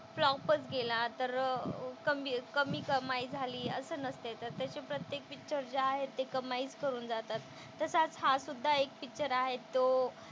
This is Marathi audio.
फ्लॉपच गेला तर कमी कमी कमाई झाली असं नसते तर त्याचे प्रत्येक पिक्चर जे आहेत ते कमाईच करून जातात. तसाच हासुद्धा एक पिक्चर आहे तो,